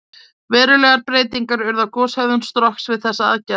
Verulegar breytingar urðu á goshegðun Strokks við þessa aðgerð.